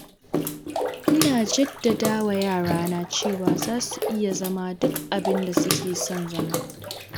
Ina jaddadawa yarana cewa za su iya zama duk abinda suke son zama.